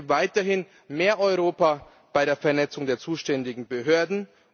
Ich denke weiterhin an mehr Europa bei der Vernetzung der zuständigen Behörden.